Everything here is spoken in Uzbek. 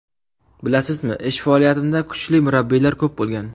Bilasizmi, ish faoliyatimda kuchli murabbiylar ko‘p bo‘lgan.